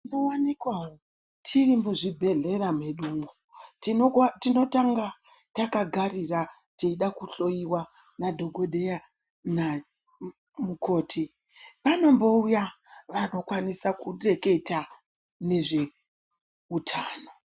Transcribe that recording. Tinowanikwa tiri mu zvibhedhlera medu mwo tinotanga taka garira teyida ku hloyiwa na dhokodheya na mukoti anombouya vaka kwanisa ku teketa nezve utano.